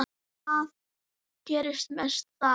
Það gerist mest þar.